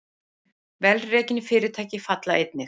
Vel rekin fyrirtæki falla einnig